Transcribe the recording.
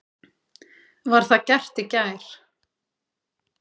Var það gert í gær.